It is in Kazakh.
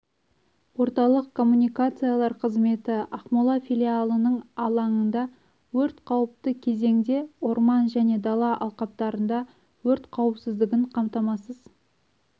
орталық коммуникациялар қызметі ақмола филиалының алаңында өрт қауіпті кезеңде орман және дала алқаптарында өрт қауіпсіздігін қамтамасыз